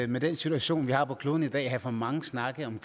med den situation vi har på kloden i dag have for mange snakke om